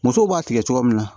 Musow b'a tigɛ cogo min na